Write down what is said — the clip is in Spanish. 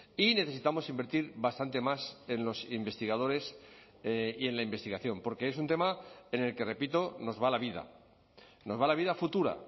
y necesitamos invertir bastante más en los investigadores y en la investigación porque es un tema en el que repito nos va la vida nos va la vida futura